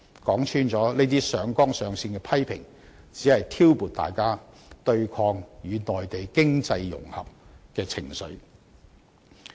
說穿了，這些上綱上線的批評，只是挑撥大家對抗與內地經濟融合的情緒。